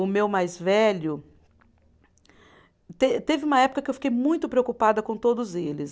O meu mais velho. Te teve uma época que eu fiquei muito preocupada com todos eles.